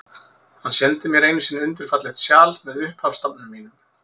Hann sendi mér einu sinni undur fallegt sjal, með upphafsstafnum mínum.